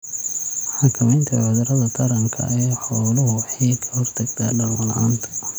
Xakamaynta cudurrada taranka ee xooluhu waxay ka hortagtaa dhalmo la'aanta.